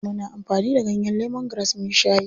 Muna amfani da ganyen lemongrass muyi shayi.